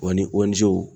Wa ni o nizɛriw